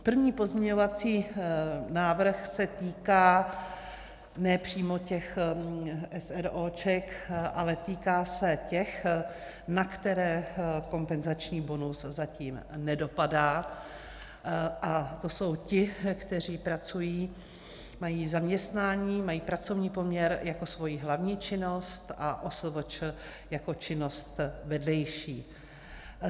První pozměňovací návrh se týká ne přímo těch eseróček, ale týká se těch, na které kompenzační bonus zatím nedopadá, a to jsou ti, kteří pracují, mají zaměstnání, mají pracovní poměr jako svoji hlavní činnost a OSVČ jako činnost vedlejší.